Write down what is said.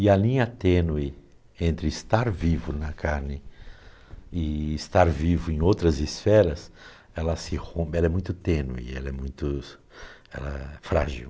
E a linha tênue entre estar vivo na carne e estar vivo em outras esferas, ela se rom, ela é muito tênue, ela é muito, ela é frágil.